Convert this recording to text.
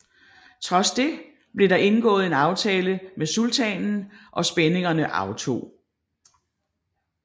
Trods det blev der indgået en aftale med sultanen og spændingerne aftog